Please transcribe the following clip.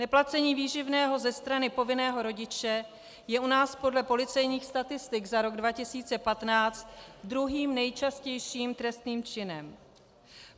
Neplacení výživného ze strany povinného rodiče je u nás podle policejních statistik za rok 2015 druhým nejčastějším trestným činem.